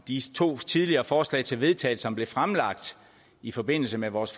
de to tidligere forslag til vedtagelse som blev fremlagt i forbindelse med vores